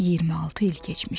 26 il keçmişdi.